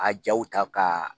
A jaw ta ka